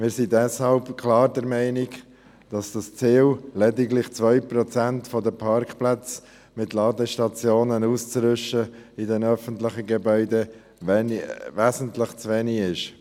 Wir sind deshalb klar der Meinung, dass das Ziel, lediglich 2 Prozent der Parkplätze in den öffentlichen Gebäuden mit Ladestationen auszurüsten, wesentlich zu wenig ist.